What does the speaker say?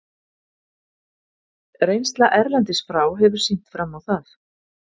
Reynsla erlendis frá hefur sýnt fram á það.